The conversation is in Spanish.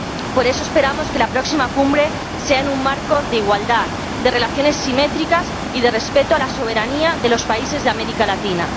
Por eso, esperamos que la próxima Cumbre sea en un marco de igualdad, de relaciones simétricas y de respeto a la soberanía de los países de América Latina.